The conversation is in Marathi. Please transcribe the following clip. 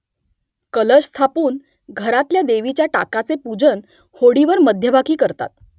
कलश स्थापून , घरातल्या देवीच्या टाकाचे पूजन होडीवर मध्यभागी करतात